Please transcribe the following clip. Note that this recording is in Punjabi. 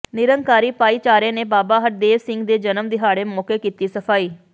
ਨਿਰੰਕਾਰੀ ਭਾਈਚਾਰੇ ਨੇ ਬਾਬਾ ਹਰਦੇਵ ਸਿੰਘ ਦੇ ਜਨਮ ਦਿਹਾਡ਼ੇ ਮੌਕੇ ਕੀਤੀ ਸਫ਼ਾਈ